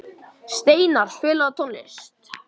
Steinarr, spilaðu tónlist.